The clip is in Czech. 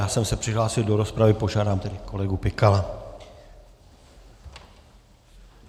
Já jsem se přihlásil do rozpravy, požádám tedy kolegu Pikala.